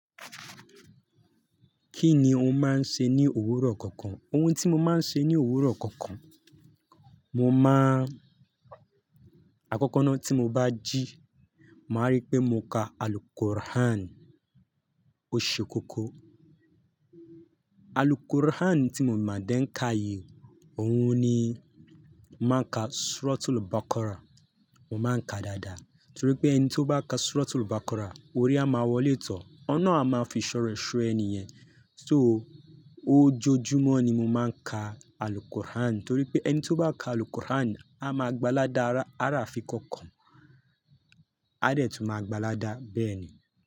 Kí ni o máa ń ṣe ní òwúrọ̀ kọ̀ọ̀kan? Ohun tí mo máa ń ṣe ní òwúrọ̀ kọ̀ọ̀kan, mo máa ń, àkọ́kọ́ náà tí mo bá jí, màá rí pé mo ka Al-Qur'an, ó ṣe kókó. Al-Qur'an tí mo máa dẹ́ ń ka yìí, òun ni mo máa ka Suratul Baqara, mo máa ń ka dáadáa torí pé ẹni tí ó bá ka Suratul Baqara, ore á máa wọlé tọ́, Olórun a máa fi ìṣọ́ rẹ̀ só ẹni yẹn. So ojojúmọ́ ni mo máa ń ka Al-Qur'an torí pé ẹni tí ó bá ka Al-Qur'an á máa gba ládá, á rà á fi kọ́kọ̀ọ́, á dẹ̀ tún máa gbaládá bẹ́ẹ̀ ni.